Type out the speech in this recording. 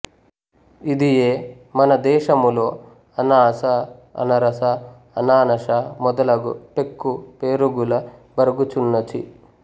ఇదియే మన దేశములో అనాస అనరస అనానాష మొదలగు పెక్కు పేరుగుల బరగుచున్నచి